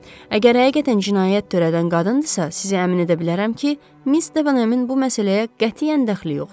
Əgər həqiqətən cinayət törədən qadındırsa, sizə əmin edə bilərəm ki, Miss Stavenhəmin bu məsələyə qətiyyən dəxli yoxdur.